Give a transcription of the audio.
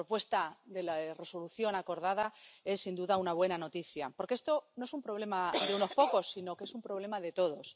La propuesta de la Resolución acordada es, sin duda, una buena noticia, porque esto no es un problema de unos pocos sino que es un problema de todos.